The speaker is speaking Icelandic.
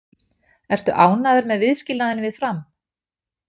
Ertu ánægður með viðskilnaðinn við Fram?